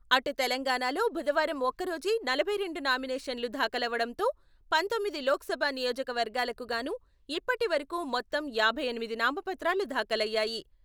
అటు తెలంగాణలో బుధవారం ఒక్కరోజే నలభై రెండు నామినేషన్లు దాఖలవడంతో పంతొమ్మిది లోకసభ నియోజకవర్గాలకు గాను ఇప్పటివరకు మొత్తం యాభై ఎనిమిది నామపత్రాలు దాఖలయ్యాయి.